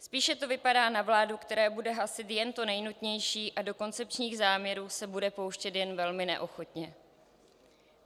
Spíše to vypadá na vládu, která bude hasit jen to nejnutnější a do koncepčních záměrů se bude pouštět jen velmi neochotně.